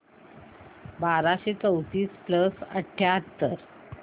बाराशे चौतीस प्लस अठ्याहत्तर